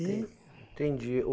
Entendi.